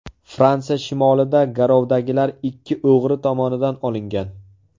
Fransiya shimolida garovdagilar ikki o‘g‘ri tomonidan olingan.